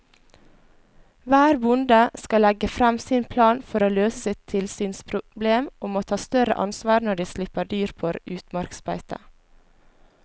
Hver bonde skal legge frem sin plan for å løse sitt tilsynsproblem og må ta større ansvar når de slipper dyr på utmarksbeite.